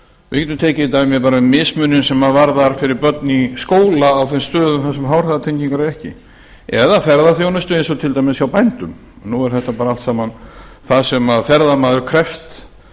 getum tekið dæmi bara mismuninn sem varðar fyrir börn í skóla á þeim stöðum þar sem háhraðatengingar eru ekki eða ferðaþjónustu eins og til dæmis hjá bændum nú er þetta bara allt saman það sem ferðamaður krefst